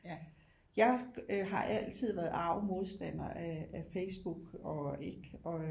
Jeg øh har altid været arg modstander af Facebook og ikke og